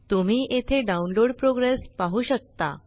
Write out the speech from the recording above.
तुम्ही येथे download progress पाहु शकता